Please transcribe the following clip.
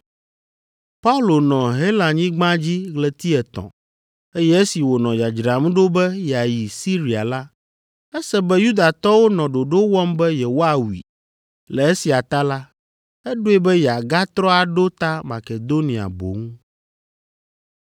Paulo nɔ Helanyigba dzi ɣleti etɔ̃, eye esi wònɔ dzadzram ɖo be yeayi Siria la, ese be Yudatɔwo nɔ ɖoɖo wɔm be yewoawui. Le esia ta la, eɖoe be yeagatrɔ aɖo ta Makedonia boŋ.